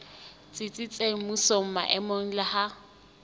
tsitsitseng mmusong maemong le ha